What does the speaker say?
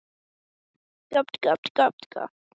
Hann vissi ekki hvernig honum leið.